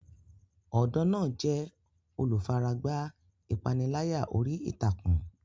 Ọ̀dọ́ náà jẹ́ olùfaragbá ìpániláyà orí ìtàkùn.